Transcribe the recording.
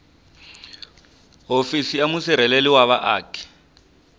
hofisi ya musirheleli wa vaaki